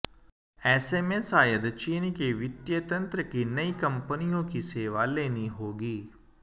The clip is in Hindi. ऐसे में शायद चीन के वित्तीय तंत्र की नई कंपनियों की सेवा लेनी होगी